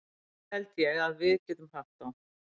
Þá held ég að við getum haft þá.